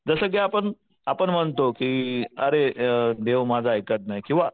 जसं की आपण आपण म्हणतो की अरे देव माझं ऐकत नाही किंवा